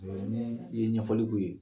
E ni i ye ɲɛfɔli k'u ye